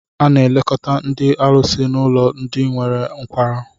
A na-elekọta ndị ọlụsị n'ụlọ ndị nwere nkwarụ